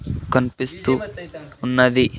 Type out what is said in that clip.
కనిపిస్తూ ఉన్నది.